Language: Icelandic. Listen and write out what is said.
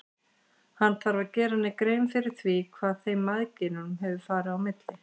Hann þarf að gera henni grein fyrir því hvað þeim mæðginum hefur farið á milli.